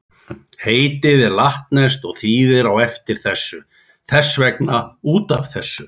Heitið er latneskt og þýðir á eftir þessu, þess vegna út af þessu.